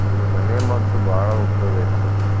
ಅಂದ್ರ ಮನೆಮದ್ದು ಬಾಳ ಉಪಯೋಗ ಐತ್ ಬಿಡ್ರಿ.